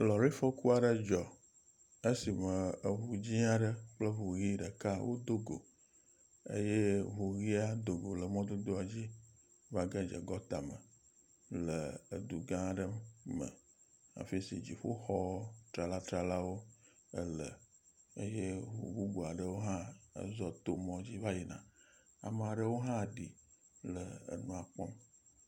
Lɔrifɔku aɖe dzɔ esime eŋu dzɛ̃a ɖe kple eŋu ʋia ɖeka wodo go eye ŋu ʋia do go le mɔ dzi va ge dze gɔtame. Le edu gã ɖe me afi si dziƒoxɔ trala tralawo ele eye ŋu bubua ɖewo hã zɔ to mɔ dzi va yina. Ame aɖewo hã ɖi le nua kpɔm.